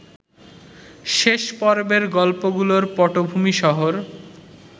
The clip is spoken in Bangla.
শেষ পর্বের গল্পগুলোর পটভূমি শহর